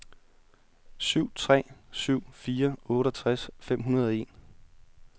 syv tre syv fire otteogtres fem hundrede og en